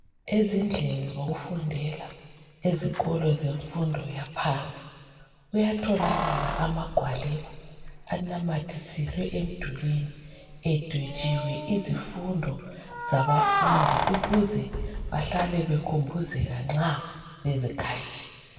Ezindlini zokufundela ezikolo zemfundo yaphansi kuyatholakala amagwaliba anamathiselwe emdulini edwetshiwe izifundo zabafundi ukuze bahlale bekhumbuzeke nxa bezikhangele